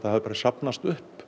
hafi safnast upp